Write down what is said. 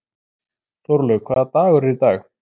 Þórlaug, hvaða dagur er í dag?